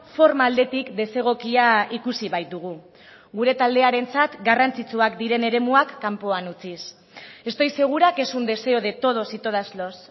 forma aldetik desegokia ikusi baitugu gure taldearentzat garrantzitsuak diren eremuak kanpoan utziz estoy segura que es un deseo de todos y todas los